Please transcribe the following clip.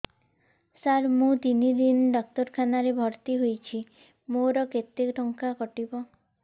ସାର ମୁ ତିନି ଦିନ ଡାକ୍ତରଖାନା ରେ ଭର୍ତି ହେଇଛି ମୋର କେତେ ଟଙ୍କା କଟିବ